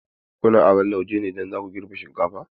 Kuna aron lauje ne idan za ku girbe shinkafa?